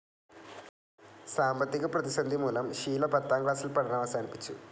സാമ്പത്തിക പ്രതിസന്ധി മൂലം ഷീല പത്താം ക്ലാസിൽ പഠനം അവസാനിപ്പിച്ചു.